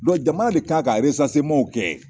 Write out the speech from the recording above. jamana de kan ka kɛ